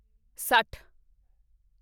ਸੱਠ